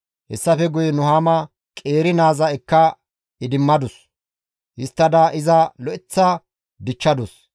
Hessafe guye Nuhaama qeeri naaza ekka idimmadus; histtada iza lo7aththa dichchadus.